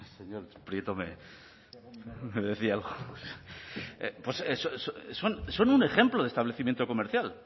son un ejemplo de establecimiento comercial